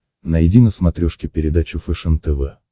найди на смотрешке передачу фэшен тв